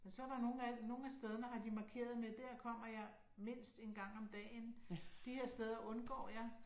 Men så er der nogen af nogle af stederne har de markeret med her kommer jeg mindst en gang om dagen, de her steder undgår jeg